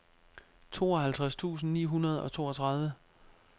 tooghalvtreds tusind ni hundrede og toogtredive